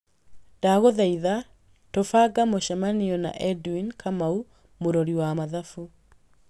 Ndagũthaitha tũbanga mũcemanio na edwin kamau mũrori wa mathabu